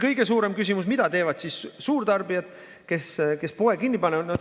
Kõige suurem küsimus: mida teevad siis suurtarbijad, kes poe kinni panevad?